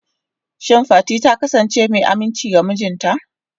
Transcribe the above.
Shin Fati ta kasance mai aminci ga mijinta?